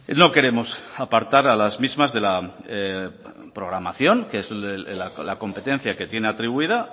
no queremos apartar a las mismas de la programación que es la competencia que tiene atribuida